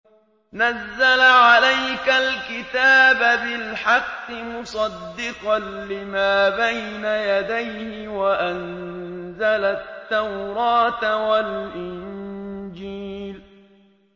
نَزَّلَ عَلَيْكَ الْكِتَابَ بِالْحَقِّ مُصَدِّقًا لِّمَا بَيْنَ يَدَيْهِ وَأَنزَلَ التَّوْرَاةَ وَالْإِنجِيلَ